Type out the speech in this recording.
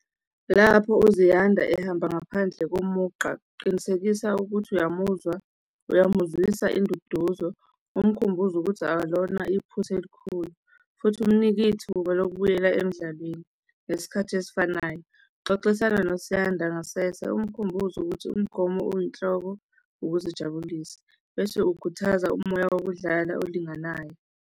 Lapho uZiyanda ehamba ngaphandle komugqa, qinisekisa ukuthi uyamuzwa, uyamuzwisa induduzo umkhumbuze ukuthi akalona iphutha elikhulu futhi umnike ithuba lokubuyela emdlalweni ngesikhathi esifanayo. Xoxisana noZiyanda ngasese umkhumbuze ukuthi umgomo oyinhloko ukuzijabulisa bese ukhuthaza umoya wokudlala olinganayo.